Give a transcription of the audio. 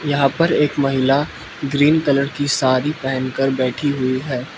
यहा पर एक महिला ग्रीन कलर की साड़ी पहन कर बैठी हुई है।